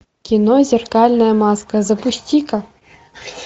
кино зеркальная маска запусти ка